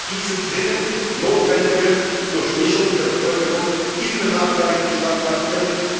diese dringend notwendige Durchmischung der Bevölkerung in benachteiligten Stadtquartieren.